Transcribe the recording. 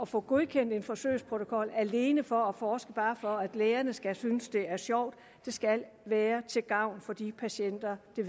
få godkendt en forsøgsprotokol alene for at forske og bare for at lægerne synes det er sjovt det skal være til gavn for de patienter det